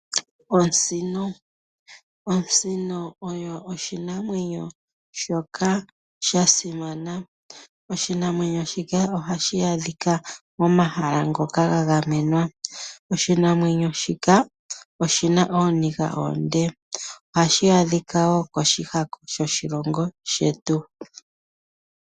Osino. Osino oyo oshinamwenyo shoka sha simana ,oshinamwenyo shika ohashi adhika pomahala ngoka ga gamenwa. Oshinamwenyo shika oshina ooniga oonde. Ohashi adhika koshihako sho shilongo shetu.